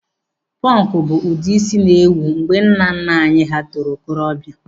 Pọnkụ bụ ụdị ísí na-ewu mgbe nnanna anyị hà toro okorobịa.